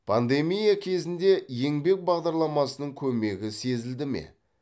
пандемия кезінде еңбек бағдарламасының көмегі сезілді ме